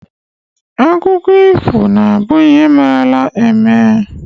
Akụkọ ifo na- abụ ihe merela eme.